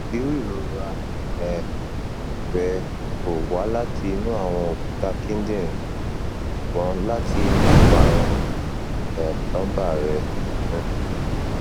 iru irora um rẹ ko wa lati inu awọn okuta kidinrin ṣugbọn lati inu iparun um lumbar rẹ um